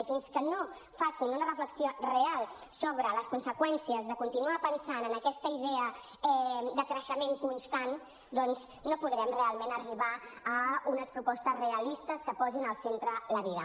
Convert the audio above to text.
i fins que no facin una reflexió real sobre les conseqüències de continuar pensant en aquesta idea de creixement constant doncs no podrem realment arribar a unes propostes realistes que posin al centre la vida